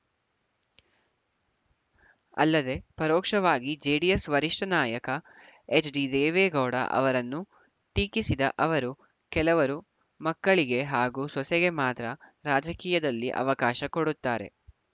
ಅಲ್ಲದೇ ಪರೋಕ್ಷವಾಗಿ ಜೆಡಿಎಸ್‌ ವರಿಷ್ಠ ನಾಯಕ ಎಚ್‌ಡಿದೇವೇಗೌಡ ಅವರನ್ನೂ ಟೀಕಿಸಿದ ಅವರು ಕೆಲವರು ಮಕ್ಕಳಿಗೆ ಹಾಗೂ ಸೊಸೆಗೆ ಮಾತ್ರ ರಾಜಕೀಯದಲ್ಲಿ ಅವಕಾಶ ಕೊಡುತ್ತಾರೆ